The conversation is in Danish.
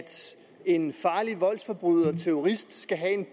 en farlig voldsforbryder og terrorist skal have en